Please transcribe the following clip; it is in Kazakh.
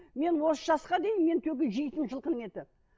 мен осы жасқа дейін менің только жейтінім жылқының еті